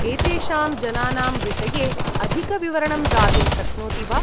एतेषां जनानां विषये अधिकविवरणं दातुं शक्नोति वा?